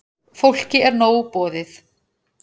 Fólki er nóg boðið.